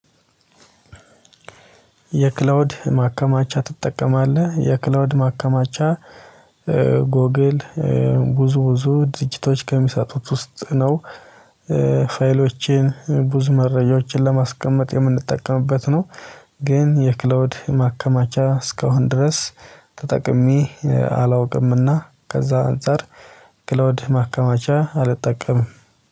የክላውድ ማከማቻ ትጠቀማለህ የክላውድ ማከማቻ ጎግል ብዙ ብዙ ድርጅቶች ከሚሰጡት ውስጥ ነው። ፋይሎችን ብዙ መረጃዎችን ለማስቀመጥ የምንጠቀምበት ነው። ግን የክላውድ ማከማቻ እስካሁን ድረስ ተጠቅሜ አላውቅምና ከዛ አንፃር ክላውድ ማከማቻ አልጠቀምም